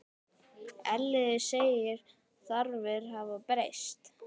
Elliði segir þarfir hafa breyst.